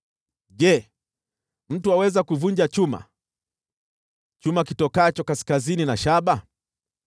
“Je, mtu aweza kuvunja chuma, chuma kitokacho kaskazini, au shaba?